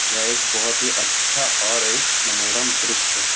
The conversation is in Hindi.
यह एक बहोत ही अच्छा और एक मनोरम दृश्य है।